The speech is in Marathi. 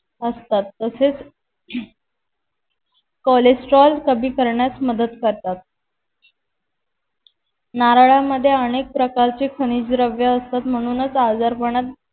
असतात तसेच cholesterol कमी करण्यास मदत करतात नारळांमद्धे अनेक प्रकारचे खनिजद्रव्ये असतात म्हणूनच आजारपणात